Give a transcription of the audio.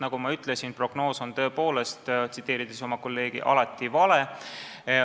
Nagu ma ütlesin, tsiteerides oma kolleegi, prognoos on tõepoolest alati vale.